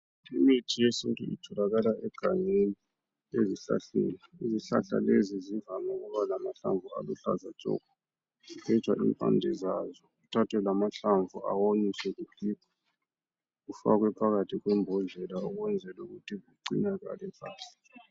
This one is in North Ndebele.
Imithi yesintu itholakala egangeni ezihlahleni. Izihlahla lezi zivame ukuba lamahlamvu aluhlaza tshoko kugenjwa impande zazo kuthathwe lamahlamvu awonyiswe kugigwe kufakwe phakathi kwembodlela ukwenzela ukuthi ugcinakale kahle.